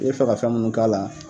I bɛ fɛ ka fɛn mun k'a la.